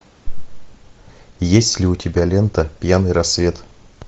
есть ли у тебя лента пьяный рассвет